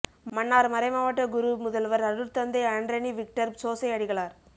மன்னார் மறைமாவட்ட குரு முதல்வர் அருட்தந்தை அன்ரனி விக்டர் சோசை அடிகளார்